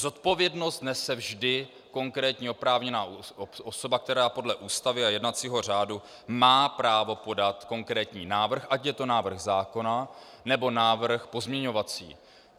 Zodpovědnost nese vždy konkrétní oprávněná osoba, která podle Ústavy a jednacího řádu má právo podat konkrétní návrh, ať je to návrh zákona, nebo návrh pozměňovací.